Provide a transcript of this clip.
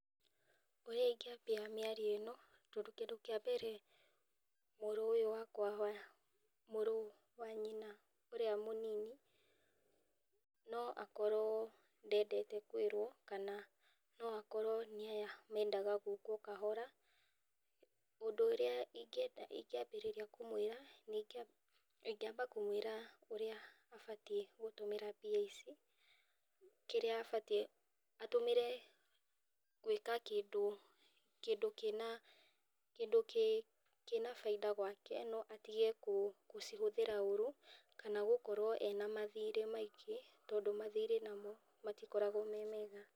Ũrĩa ũngiambia mĩario ĩno, tondũ kĩndũ kĩa mbere mũrũ ũyũ wakwa, mũrũ wa nyina ũyũ mũnini no akorwo ndendete kwĩrwo kana no akorwo nĩ aya mendaga gũkwo kahora, ũndũ ũrĩa ingĩ ambĩrĩria kũmwĩra, ingĩ ambĩrĩria kũmwĩra ũrĩa abatie gũtũmĩra mbia ici kĩrĩa abatie, atũmĩre gwĩka kĩndũ kĩna, kĩndũ kĩna baita gwake no atige gũcihũthĩra ũru kana gũkorwo ena mathirĩ maingĩ tondũ mathirĩ namo matikoragwo me mega.